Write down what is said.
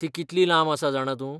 ती कितली लांब आसा जाणां तूं?